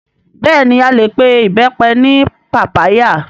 Bẹ́ẹ̀ni a lè pe Ìbẹ́pẹ ní pàpáyà